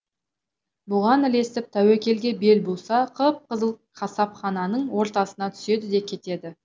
бұған ілесіп тәуекелге бел буса қып қызыл қасапхананың ортасына түседі де кетеді